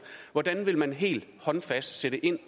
hvordan vil man helt håndfast sætte ind